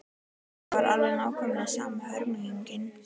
Það var alveg nákvæmlega sama hörmungin.